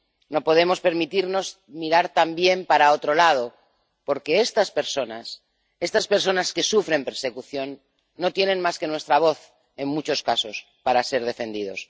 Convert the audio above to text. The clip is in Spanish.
No podemos permitirnos mirar también para otro lado, porque estas personas, estas personas que sufren persecución, no tienen más que nuestra voz, en muchos casos, para ser defendidos.